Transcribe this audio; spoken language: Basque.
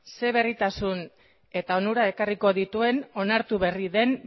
zein berritasun eta onura ekarriko dituen onartu berri den